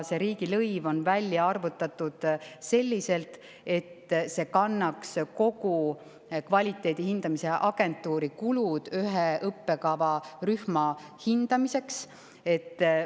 See riigilõiv on välja arvutatud selliselt, et see kannaks kogu ühe õppekavarühma hindamiseks mõeldud kvaliteedihindamise agentuurikulud.